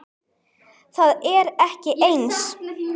Það er ekki eins.